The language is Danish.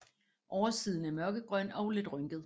Oversiden er mørkegrøn og lidt rynket